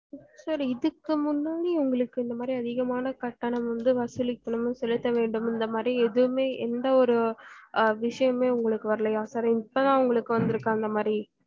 sir இதுக்கு முன்னாடி உங்களுக்கு இந்த மாரி அதிகமான கட்டணம் வந்து வசூலிக்கனும் னு செலுத்தவேண்டும் இந்த மாரி எதுவுமே எந்த ஒரு அஹ் விசியமுமே உங்களுக்கு வரலயா sir இப்பதான்உங்களுக்கு வந்துருக்கா இந்தமாரி